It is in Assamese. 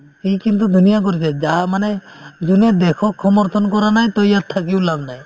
সি কিন্তু ধুনীয়া কৰিছে যা মানে যোনে দেশক সমৰ্থন কৰা নাই to ইয়াত থাকিও লাভ নাই